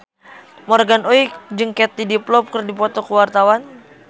Morgan Oey jeung Katie Dippold keur dipoto ku wartawan